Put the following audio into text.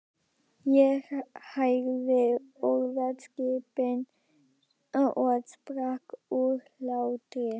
Ég heyrði orðaskiptin og sprakk úr hlátri.